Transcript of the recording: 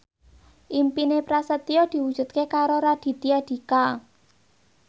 impine Prasetyo diwujudke karo Raditya Dika